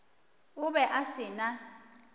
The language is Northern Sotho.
o be a se na